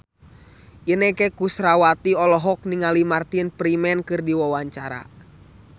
Inneke Koesherawati olohok ningali Martin Freeman keur diwawancara